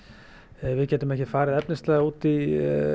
við getum ekki farið efnislega út í